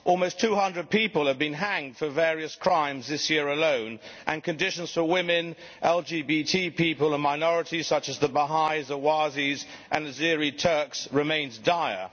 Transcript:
Almost 200 people have been hanged for various crimes this year alone and conditions for women, LGBT people and minorities such as the Baha'is, the Ahwazi Arabs and Azeri Turks remains dire.